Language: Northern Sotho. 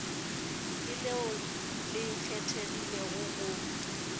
ke leo le kgethegilego go